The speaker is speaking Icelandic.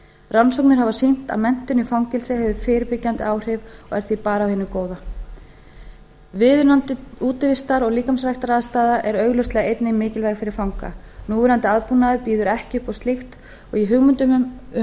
rannsóknir hafa sýnt að menntun í fangelsi hefur fyrirbyggjandi áhrif og er því bara af hinu bjóða viðunandi útivistar og líkamsræktaraðstaða er augljóslega einnig mikilvæg fyrir fanga núverandi aðbúnaður býður ekki upp á slíkt og í hugmyndum um